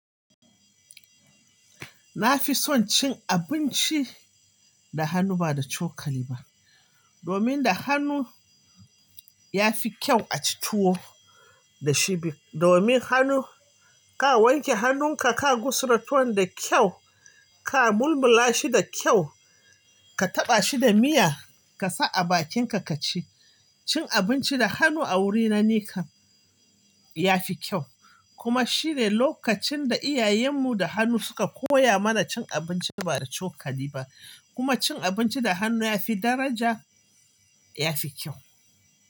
Na fi son cin abinci da hannu ba da cokali ba domin da hannu ya fi kyau a ci tuwo da shi domin hannu ka wanke hannunka ka gusara tuwo da kyau ka mulmula shi da kyau, ka taɓa shi da miya ka sa a bakinka ka ci. Cin abinci da hannu a wuri na nikam ya fi kyau. Kuma shi ne lokacin da iyayenmu da hannu suka koya mana cin abinci ba da cokali ba. Kuma cin abinci da hannu ya fi daraja, ya fi kyau.